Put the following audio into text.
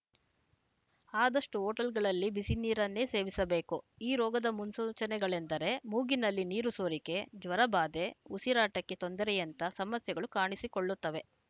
ಆದಷ್ಟು ಹೋಟೆಲ್‌ಗಳಲ್ಲಿ ಬಿಸಿನೀರನ್ನೇ ಸೇವಿಸಬೇಕು ಈ ರೋಗದ ಮುನ್ಸೂಚನೆಗಳೆಂದರೆ ಮೂಗಿನಲ್ಲಿ ನೀರು ಸೋರಿಕೆ ಜ್ವರಬಾಧೆ ಉಸಿರಾಟಕ್ಕೆ ತೊಂದರೆಯಂಥ ಸಮಸ್ಯೆಗಳು ಕಾಣಿಸಿಕೊಳ್ಳುತ್ತವೆ